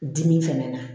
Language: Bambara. Dimi fɛnɛ na